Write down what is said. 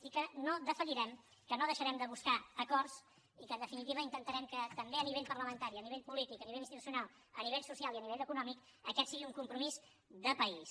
i que no defallirem que no deixarem de buscar acords i que en definitiva també intentarem que a nivell parlamentari a nivell polític a nivell institucional a nivell social i a nivell econòmic aquest sigui un compromís de país